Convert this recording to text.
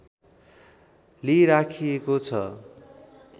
लिइराखिएको छ